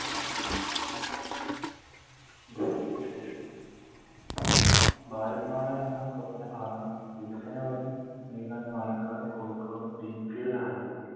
വിശേഷം ഭാരത് മാതാ എന്ന സ്വപ്നപാത വികസന വഴി നൽകാൻ Palakkad Kozhikode green field highway